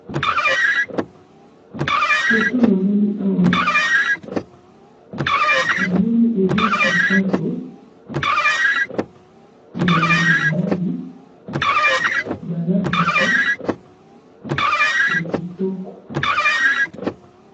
photo namoni awa namoni eza sapato ya mibali balataka kitoko